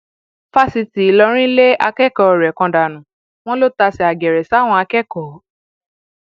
fásitì ìlọrin lé akẹkọọ rẹ kan dànù wọn lọ tàsé àgèrè sáwọn akẹkọọ